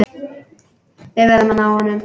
Við verðum að ná honum.